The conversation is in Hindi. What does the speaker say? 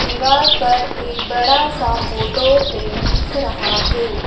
दीवार पर ये बड़ा सा फोटो फ्रेम दिख रहा हैं।